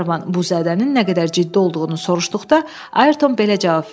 Qlenarvan bu zədənin nə qədər ciddi olduğunu soruşduqda Ayrton belə cavab verdi: